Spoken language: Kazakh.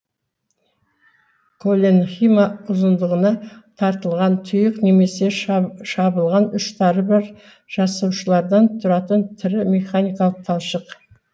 колленхима ұзындығына тартылған тұйық немесе шабылған ұштары бар жасушалардан тұратын тірі механикалық талшық